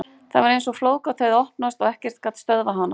Það var eins og flóðgátt hefði opnast og ekkert gat stöðvað hana.